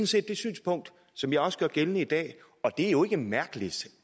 set det synspunkt som jeg også gør gældende i dag og det er jo ikke mærkeligt